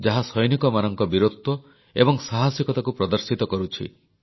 ଯାହା ସୈନିକମାନଙ୍କ ବୀରତ୍ୱ ଏବଂ ସାହସିକତାକୁ ପ୍ରଦର୍ଶିତ କରୁଛି